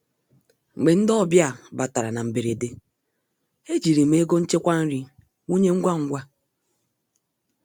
Mgbe ndị ọbịa batara na mberede, ejiri m ego nchekwa nri wụnye ngwa ngwa.